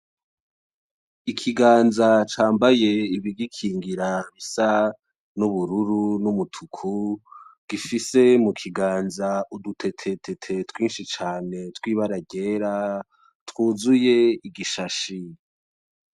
Ikiganza cambaye ibigikingira bisa n'ubururu; n'umutuku, gifise mu kiganza udutete tete twinshi cane tw'ibara ryera twuzuye igishashi.